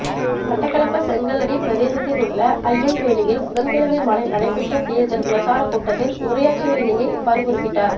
மட்டக்களப்பு செங்கலடி பிரதேசத்திலுள்ள ஐயங்கேணியில் புதன்கிழமை மாலை நடைபெற்ற தேர்தல் பிரசார கூட்டத்தில் உரையாற்றுகையிலேயே இவ்வாறு குறிப்பிட்டார்